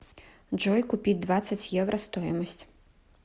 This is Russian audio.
джой купить двадцать евро стоимость